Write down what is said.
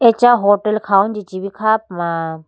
acha hotel khawuji chee bi kha puma.